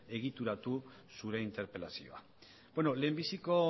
egituratu zure interpelazioa lehenbiziko